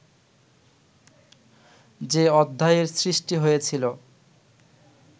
যে অধ্যায়ের সৃষ্টি হয়েছিল